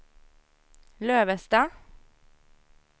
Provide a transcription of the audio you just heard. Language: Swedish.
Lövestad